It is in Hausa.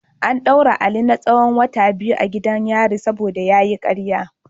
An daure Ali na tsahon wata biyu a gidan yari saboda karya.